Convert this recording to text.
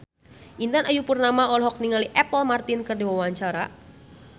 Intan Ayu Purnama olohok ningali Apple Martin keur diwawancara